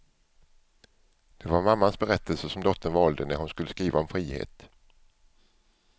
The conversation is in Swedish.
Det var mammans berättelse som dottern valde när hon skulle skriva om frihet.